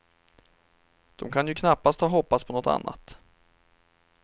De kan ju knappast ha hoppats på något annat.